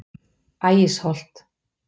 Ægisholti